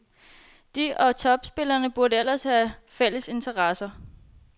De og topspillerne burde ellers have fælles interesser.